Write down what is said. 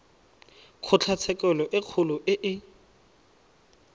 kgotlatshekelo e kgolo e e